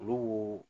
Olu